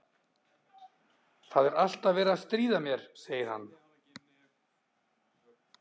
Það er alltaf verið að stríða mér, segir hann.